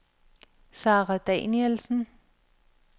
Sara Danielsen